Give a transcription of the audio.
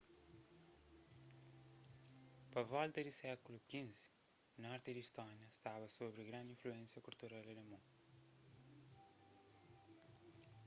pa volta di sékulu xv norti di istónia staba sobri grandi influénsia kultural alemon